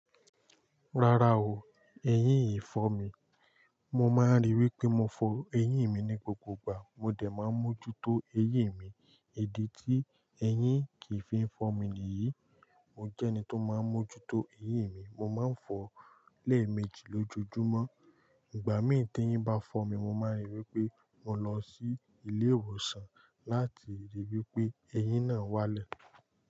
Rárá o, eyín yì fọ́ mi. Mo máa ń ríi wí pé mo fọ eyín mi ní gbogbo ìgbà. Mo dẹ̀ máa ń mójútó eyín mi, èdè tí eyín kì í fi ń fọ́ mi nìyí. Mo jẹ́ ẹni tó máa ń mójútó eyín mi. Mo má ń fọ lé méjì lójoojúmọ́. Ìgbà mí ì tí eyín bá fọ́ mi, mo máa ń rí i wí pé mo lọ sí ilé ìwòsàn láti ríi wí pé eyín náà wálẹ̀.